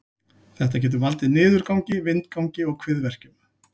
Þetta getur valdið niðurgangi, vindgangi og kviðverkjum.